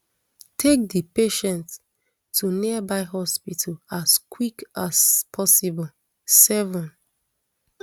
take di patient to nearby hospital as quick as possible seven